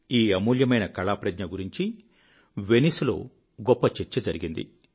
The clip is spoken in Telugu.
ఈ అమూల్యమైన కళా ప్రజ్ఞ గురించి వెనైస్ లో గొప్ప చర్చ జరిగింది